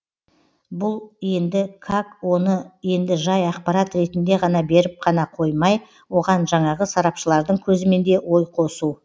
бұл енді как оны енді жай ақпарат ретінде ғана беріп қана қоймай оған жаңағы сарапшылардың көзімен де ой қосу